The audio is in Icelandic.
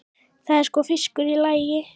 Það er sko fiskur í lagi.